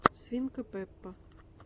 свинка пеппа